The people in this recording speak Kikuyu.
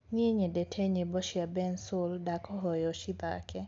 nie nyendete nyĩmbo cĩa bensoul ndakũhoya ucithake